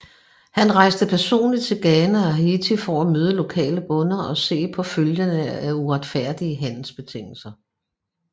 Han rejste personligt til Ghana og Haiti for at møde lokale bønder og se på følgerne af uretfærdige handelsbetingelser